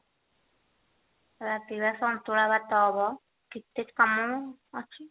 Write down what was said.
ରାତିକି ବା ସନ୍ତୁଳା ଭାତ ହବ କେତେ କାମ ଅଛି